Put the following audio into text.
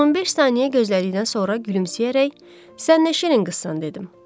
15 saniyə gözlədikdən sonra gülümsəyərək, Sən nə şirin qızsan dedim.